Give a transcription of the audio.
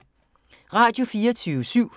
Radio24syv